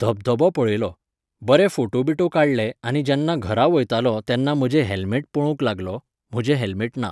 धबधबो पळयलो. बरे फोटो बिटो काडले आनी जेन्ना घरा वयतालों तेन्ना म्हजें हेल्मेट पळोवंक लागलों. म्हजें हेल्मेट ना.